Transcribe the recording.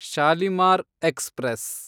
Shalimar express